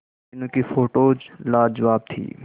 मीनू की फोटोज लाजवाब थी